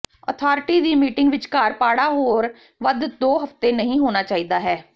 authority ਦੀ meeting ਵਿਚਕਾਰ ਪਾੜਾ ਹੋਰ ਵੱਧ ਦੋ ਹਫ਼ਤੇ ਨਹੀ ਹੋਣਾ ਚਾਹੀਦਾ ਹੈ